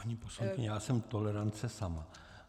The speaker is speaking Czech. Paní poslankyně, já jsem tolerance sama.